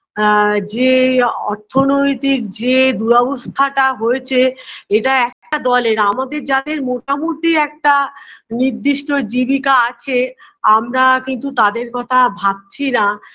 আ যে অর্থনৈতিক যে দুরাবস্থাটা হয়েছে এটা একটা দলের আমাদের যাদের মোটামুটি একটা নির্দিষ্ট জীবিকা আছে আমরা কিন্তু তাদের কথা ভাবছিনা